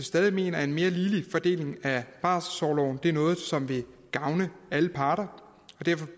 stadig mener at en mere ligelig fordeling af barselsorloven er noget som vil gavne alle parter og derfor